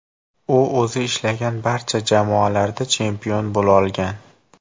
U o‘zi ishlagan barcha jamoalarda chempion bo‘lolgan.